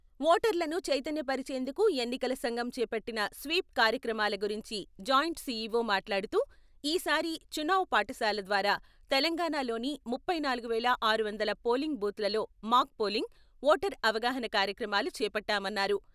ఓటర్లను చైతన్యపరిచేందుకు ఎన్నికల సంఘం చేపట్టిన స్వీప్ కార్యక్రమాల గురించి జాయింట్ సిఇఓ మాట్లాడుతూ ఈ సారి "చునావ్ పాటశాల " ద్వారా తెలంగాణా లోని ముప్పై నాలుగు వేల ఆరు వందల పోలింగ్ బూత్ లలో మాక్ పోలింగ్, ఓటర్ అవగాహన కార్యక్రమాలు చేపట్టామన్నారు.